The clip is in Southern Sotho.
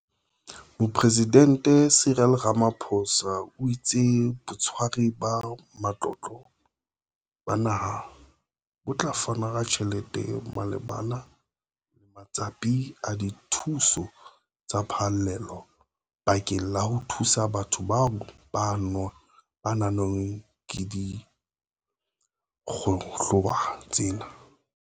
Mopresidente Cyril Ramaphosa o itse Botshwari ba Matlotlo ba Naha bo tla fana ka tjhelete malebana le matsapa a dithuso tsa phallelo bakeng la ho thusa batho bao ba anngweng ke dikgohola tsena.